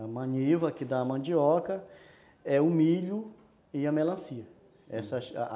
A maniva que dá a mandioca , é, o milho e a melancia, uhum, essas